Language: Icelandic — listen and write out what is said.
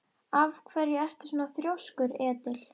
Af hverju ertu svona þrjóskur, Edil?